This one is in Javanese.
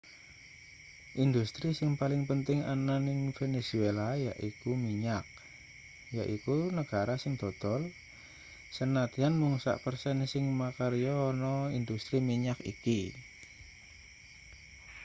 industri sing paling penting ana ning venezuela yaiku minyak yaiku negara sing dodol sanadyan mung sak persen sing makarya ana industri minyak iki